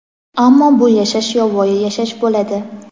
ammo bu yashash yovvoyi yashash bo‘ladi.